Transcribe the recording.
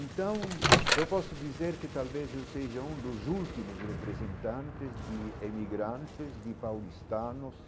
Então, eu posso dizer que talvez eu seja um dos últimos representantes de emigrantes, de paulistanos,